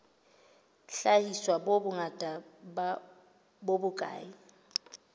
hlahiswa e bongata bo bokae